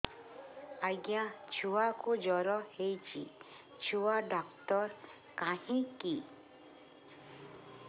ଆଜ୍ଞା ଛୁଆକୁ ଜର ହେଇଚି ଛୁଆ ଡାକ୍ତର କାହିଁ କି